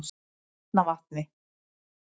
Arnarvatni